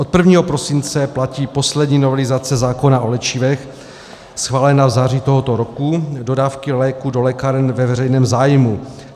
Od 1. prosince platí poslední novelizace zákona o léčivech schválená v září tohoto roku - dodávky léků do lékáren ve veřejném zájmu.